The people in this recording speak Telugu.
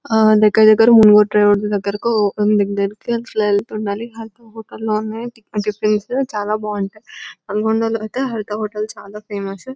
ఆ దగ్గర దగ్గర మునుగురూ ట్రావెల్స్ దగ్గర అలా వెళ్తూ ఉండాలి ఒక హోటల్లోనే ఫ్రెండ్స్ ఉంటే చాలా బాగుంటుంది ఆ నల్గొండలో అయితే హరిత హోటల్ చాల ఫేమస్ .